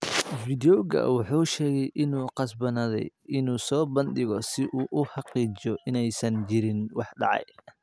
Video-ga, wuxuu sheegay inuu qasbanaaday inuu soo bandhigo si uu u xaqiijiyo in aysan jirin wax dhacay.